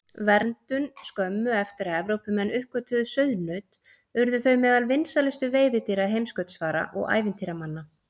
Verndun Skömmu eftir að Evrópumenn uppgötvuðu sauðnaut urðu þau meðal vinsælustu veiðidýra heimskautsfara og ævintýramanna.